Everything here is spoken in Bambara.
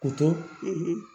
Kotɔ